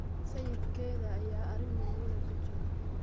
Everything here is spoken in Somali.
sayidkeeda ​​ayaa arrin murugo leh kujiraa.